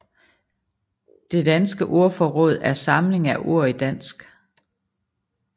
Det danske ordforråd er samlingen af ord i dansk